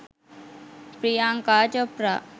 priyanka chopra